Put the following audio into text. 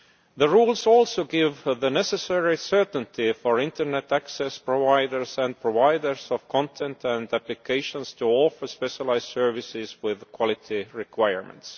The rules also give the necessary certainty for internet access providers and providers of content and applications to offer specialised services with quality requirements.